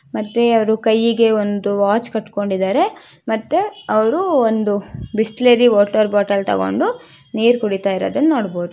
ಮತ್ತೆ ಅವರು ಕೈಗೆ ಒಂದು ವಾಚ್ ಕಟ್ಕೊಂಡಿದ್ದಾರೆ ಮತ್ತೆ ಅವರು ಒಂದು ಬಿಸ್ಲೇರಿ ವಾಟರ್ ಬಾಟಲ್ ತಗೊಂಡು ನೀರ್ ಕುಡಿತಾ ಇರೋದ್ನ ನೋಡಬಹುದು .